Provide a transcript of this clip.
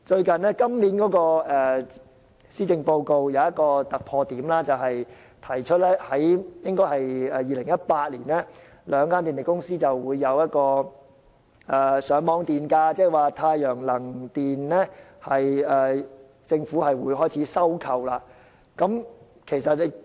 今年的施政報告有一個突破點，提出在2018年公布兩間電力公司的上網電價，政府會開始收購太陽能發電所得電力。